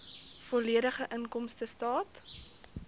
volledige inkomstestaat